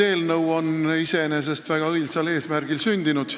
See eelnõu on iseenesest väga õilsal eesmärgil sündinud.